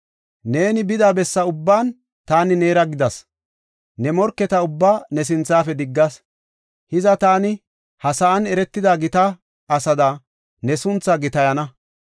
Neeni bida besse ubban taani neera gidas; ne morketa ubbaa ne sinthafe diggas. Hiza taani ha sa7an eretida gita asaada ne sunthaa gitayana.